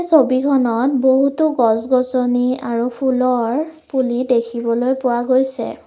ছবিখনত বহুতো গছ গছনি আৰু ফুলৰ পুলি দেখিবলৈ পোৱা গৈছে।